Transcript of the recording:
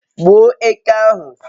gbuo eke ahu